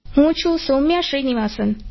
હું છું સૌમ્યા શ્રીનિવાસન